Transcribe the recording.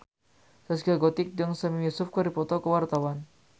Zaskia Gotik jeung Sami Yusuf keur dipoto ku wartawan